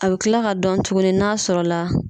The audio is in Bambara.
A bɛ kila ka dɔn tuguni n'a sɔrɔla.